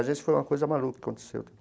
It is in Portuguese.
Agência foi uma coisa maluca que aconteceu.